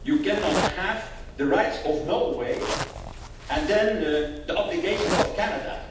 You cannot have the rights of Norway and then the obligations of Canada.